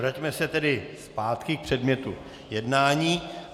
Vraťme se tedy zpátky k předmětu jednání.